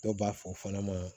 Dɔw b'a fɔ o fana ma